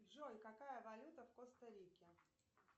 джой какая валюта в коста рике